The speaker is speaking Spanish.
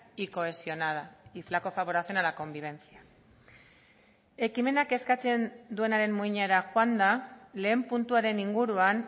y cohesionada y flaco favor hacen a la convivencia ekimenak eskatzen duenaren muinera joanda lehen puntuaren inguruan